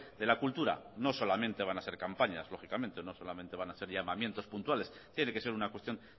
de la cultura no solamente van a ser campañas lógicamente no solamente van a ser llamamientos puntuales tiene que ser una cuestión